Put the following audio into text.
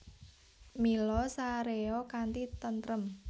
Mila saréya kanthi tentrem